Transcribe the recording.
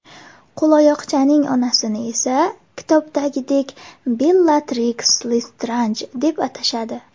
Qo‘loyoqchaning onasini esa kitobdagidek Bellatriks Lestranj deb atashadi.